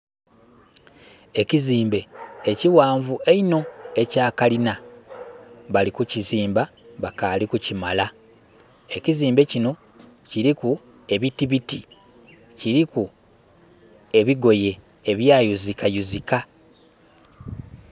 Ekizimbe ekighanvu einho ekya kalina bali ku kizimba bakali kukimala ekizimbe kinho kiliku ebitibiti, kiliku ebigoye ebwayuzika yuzika.